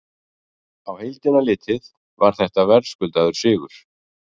Á heildina litið var þetta verðskuldaður sigur.